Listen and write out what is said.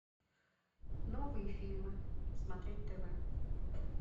новые фильмы смотреть тв